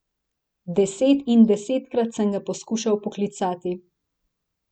Deset in desetkrat sem ga poskušal poklicati.